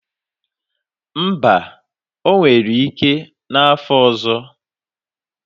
Mba, o nwere ike n'afo ọzọ